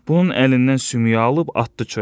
Bunun əlindən sümüyü alıb atdı çölə.